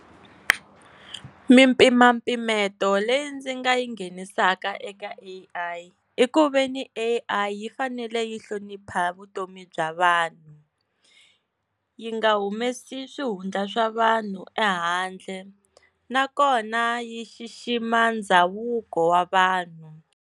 Mimpimampimeto leyi ndzi nga yi nghenisaka eka A_I i ku ve ni A_I yi fanele yi hlonipha vutomi bya vanhu vanhu yi nga humesi swihundla swa vanhu ehandle nakona yi xixima ndhavuko wa vanhu.